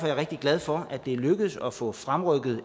jeg rigtig glad for at det er lykkedes at få fremrykket